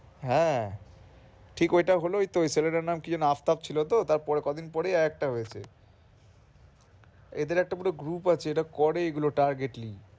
হ্যাঁ ঠিক ওইটা হলো এইতো ওই ছেলেটার নাম আফতাপ ছিলো তো তার পরে কয়দিন পরে আরেকটা হয়েছে এদের একটা পুরো group আছে এটা করে এদের targetly ।